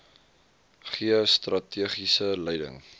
gee strategiese leiding